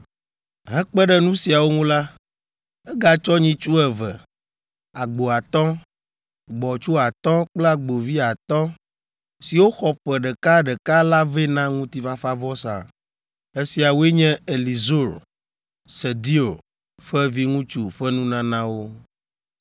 Hekpe ɖe nu siawo ŋu la, egatsɔ nyitsu eve, agbo atɔ̃, gbɔ̃tsu atɔ̃ kple agbovi atɔ̃, siwo xɔ ƒe ɖeka ɖeka la vɛ na ŋutifafavɔsa. Esiawoe nye Elizur, Sedeur ƒe viŋutsu, ƒe nunanawo.